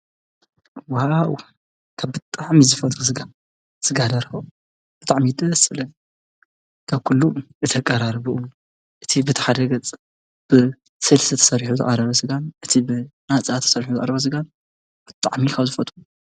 ዋው ካብ ብጣዕሚ ዝፈትዎ ስጋ ፣ ስጋ ደርሆ ብጣዕሚ እዩ ደስ ዝብለኒ ።ካብ ኩሉ እቲ ኣቀራርብኡ እቲ በቲ ሓደ ገፅ ብስልሲ ተሰሪሑ ዝቐረበ ስጋ በቲ ብናፃ ተሰሪሑ ዝቐረበ ስጋ ብጣዕሚ ካብ ዝፈትዎ።